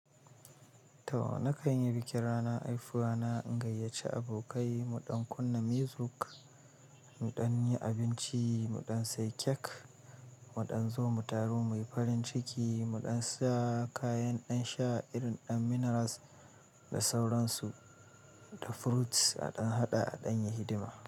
Toh na kan yi bikin rana, haifuwa na, in gayyace abokai, muɗan kunna music, muɗan yi abinci, muɗan sai kek, muɗan zo mu taru, muyi farin ciki, muɗan sa kayan ɗan sha irin ɗan minerals da sauransu, da fruits a ɗan haɗa a ɗan yi hidima.